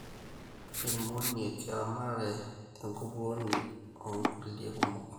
irmoniek, eramatare enkupuoni onkulie kumok